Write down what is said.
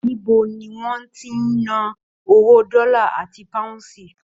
Níbo ní wọn tí n nà owó dọlà àti páhúnsí?